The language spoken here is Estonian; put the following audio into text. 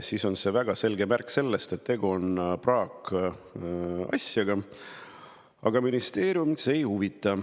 See on väga selge märk, et tegu on praakasjaga, aga ministeeriumit see ei huvita.